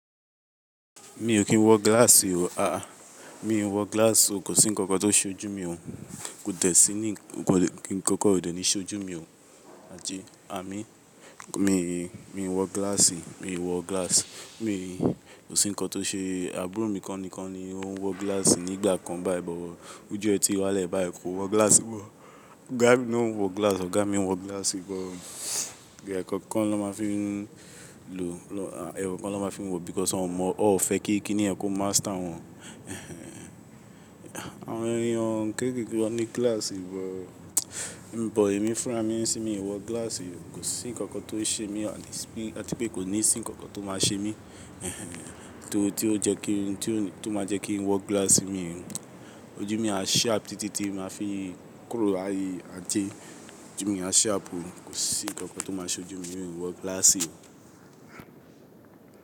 Mi ò kí ń wọ glass o, a a. Mi ò ń wọ glass o, kò sí ǹkankan tó ń ṣe ojú mi o. Kò dẹ̀ sí ní ǹkankan ò de ni ṣe ojú mi o. Àti àmín. Mi ò ń wọ glass, mi ò ń wọ glass. Mi kò sí ǹkan tó ṣe-- àbúrò mi kan nikan ni ó ń wọ glass nígbà kan báyìí but. Óju e tí wálẹ́ báyìí kò wọ glass mọ. Ọ̀gá mi na n wọ glass, ọ̀gá mi ń wọ glass but. Ìdè kankan ló máa fi ń lo, ẹ̀kookan ló máa fi ń wọ, because wọn mọ, wọ́n ò fẹ́ kí kíni yẹn kó master wọn. Àwọn èèyàn kéékèèké ló ní glass bọ̀. But èmi fúnra mí, ṣé mi ò wọ glass o. Kò sí ǹkankan tó ń ṣe mí àti pé kò ní sí ǹkankan tó máa ṣe mí. Torí tí ó jẹ́ kí n, tí ó máa jẹ́ kí n wọ glass mi ò ń wọ. Ojú mi á sharp títí tí màá fi ń kúrò ayé àje ojú mi á sharp o. Kò sí ǹkankan tó máa ṣe ojú mi, mi ò ń wọ glass o.